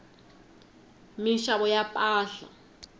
minxavo ya mpahla